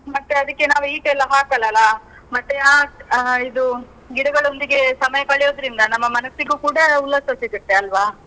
ಮತ್ತೆ ಅದಿಕ್ಕೆ ನಾವು heat ಎಲ್ಲಾ ಹಾಕಲ್ಲಲ? ಮತ್ತೆ ಆ ಆ ಇದು ಗಿಡಗಳೊಂದಿಗೆ ಸಮಯ ಕಳೆಯೊಂದ್ರಿಂದ, ನಮ್ಮ ಮನಸ್ಸಿಗೂ ಕೂಡ ಉಲ್ಲಾಸ ಸಿಗುತ್ತೆ ಅಲ್ವಾ?